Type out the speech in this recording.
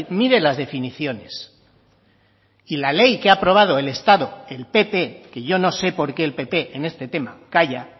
mire las definiciones y la ley que ha aprobado el estado el pp que yo no sé porque el pp en este tema calla